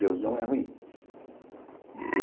Deus não é ruim.